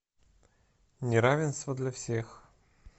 неравенство для всех